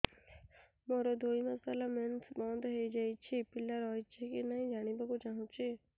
ମୋର ଦୁଇ ମାସ ହେଲା ମେନ୍ସ ବନ୍ଦ ହେଇ ଯାଇଛି ପିଲା ରହିଛି କି ନାହିଁ ଜାଣିବା କୁ ଚାହୁଁଛି